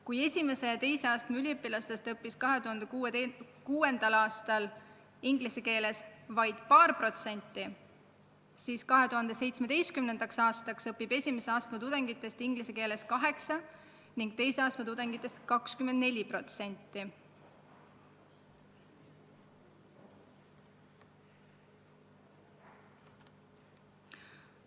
Kui esimese ja teise astme üliõpilastest õppis 2006. aastal inglise keeles vaid paar protsenti, siis 2017. aastal õppis esimese astme tudengitest inglise keeles 8% ning teise astme tudengitest 24%.